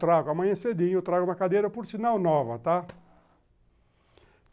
Trago, amanhã cedinho eu trago uma cadeira, por sinal nova, tá?